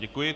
Děkuji.